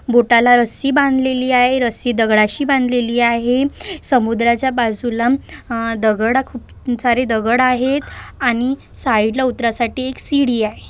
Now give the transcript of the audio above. बोटाला रस्सी बांधलेली आहे रस्सी दगडाशी बांधलेली आहे समुद्राच्या बाजूला अह दगड-अ खूप सारे दगड आहेत आणि साइड ला उतरा साठी एक सीडी आहे.